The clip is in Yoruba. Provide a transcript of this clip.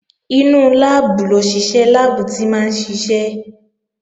Inú láàbù lòṣìṣẹ́ láàbù tí máa ń ṣiṣẹ́